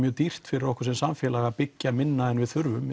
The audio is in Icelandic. dýrt fyrir okkur sem samfélag að byggja minna en við þurfum